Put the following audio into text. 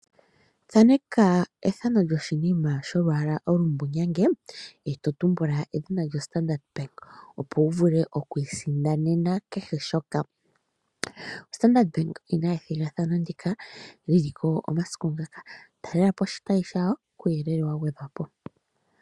Thaneka ethano lyoshinima sholwaala olumbulawu eto tumbula edhina lyo Standard Bank, opo wu vule oku isindanena kehe shoka. Standard Bank okuna ethigathano ndika li liko omasiku ngaka, talelapo oshitayi shawo kuuyelele wa gwedhwa po.